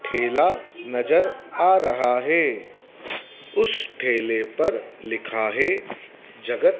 ठेला नजर आ रहा है उस ठेले पर लिखा है जगत--